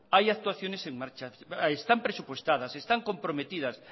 hay actuaciones en marcha están presupuestadas están comprometidas